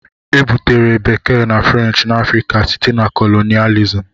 Ebutere Bekee na French na Africa site na colonialism.